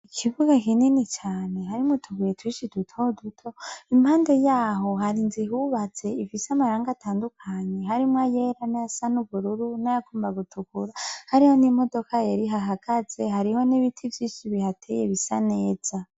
Ikibuga kinini cane harimwo tuguye twishi duto duto, impande yaho hari inzu yubatse isise amarangi atandukanye harimwo iryera n' ayasa n'ubururu n' ayagomba gutukura, hariho n'imodoka yari ihahagaze, hariho n'ibiti vyinshi bihateye bisa neza.